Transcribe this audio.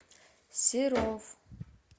серов